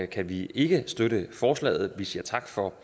kan vi ikke støtte forslaget vi siger tak for